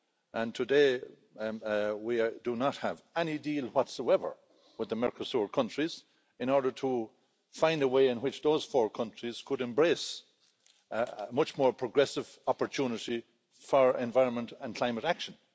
And today we do not have any deal whatsoever with the Mercosur countries in order to find a way in which those four countries could embrace a much more progressive opportunity for environment and climate action.